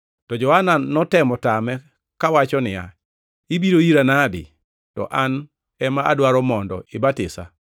To Johana notemo tame, kawacho niya, “Ibiro ira nade to an ema adwaro mondo ibatisa?”